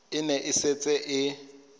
e ne e setse e